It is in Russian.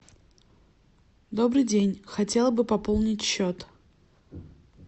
добрый день хотела бы пополнить счет